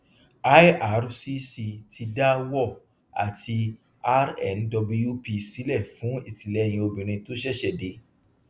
ircc ti dá war àti rnwp sílẹ fún ìtìlẹyìn obìnrin tó ṣẹṣẹ dé